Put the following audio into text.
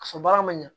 Ka fɔ baara ma ɲan